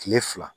Kile fila